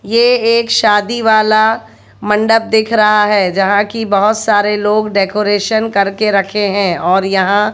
ये एक शादी वाला मंडप दिख रहा है जहां की बहोत सारे लोग डेकोरेशन कर के रखे हैं और यहां--